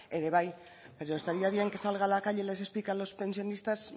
ere bai pero estaría bien que salga a la calle y les explique a los pensionistas